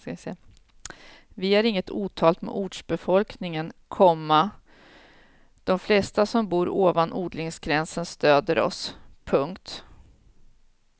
Vi har inget otalt med ortsbefolkningen, komma de flesta som bor ovan odlingsgränsen stöder oss. punkt